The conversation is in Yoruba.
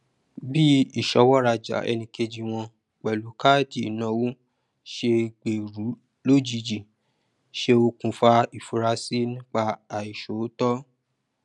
bí ìṣọwọ rajà ẹnìkejì wọn pẹlú káàdì ìnáwó ṣe gbèrú lójijì ṣe okùnfà ìfurasí nípa àìṣòótọ